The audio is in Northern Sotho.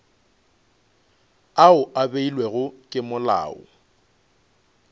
ao a beilwego ke molao